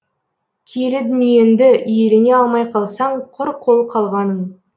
киелі дүниеңді иелене алмай қалсаң құр қол қалғаның